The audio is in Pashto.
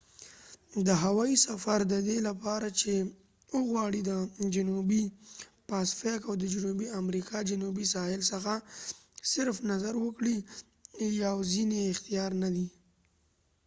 دا هوایي سفر ددې لپاره چې وغواړي د جنوبي پاسفیک او د جنوبي امریکا جنوبي ساحل څخه صرف نظر وکړې یواځينی اختیار ندي